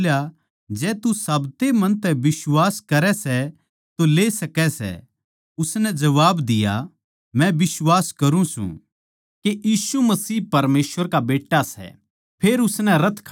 फिलिप्पुस बोल्या जै तू साब्ते मन तै बिश्वास करै सै तो ले सकै सै उसनै जबाब दिया मै बिश्वास करूँ सूं के यीशु मसीह परमेसवर का बेट्टा सै